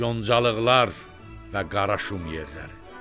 Yoncalıqlar və qara şum yerləri.